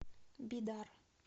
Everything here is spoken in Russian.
бидар